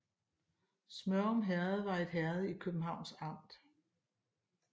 Smørum Herred var et herred i Københavns Amt